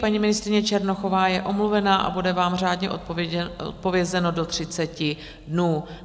Paní ministryně Černochová je omluvena a bude vám řádně odpovězeno do 30 dnů.